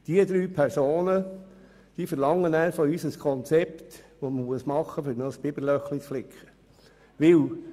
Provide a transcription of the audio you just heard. Diese drei Personen verlangen von uns ein Konzept, um ein Biberloch zu flicken.